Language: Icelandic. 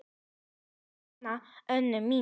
Þetta með hana Önnu mína.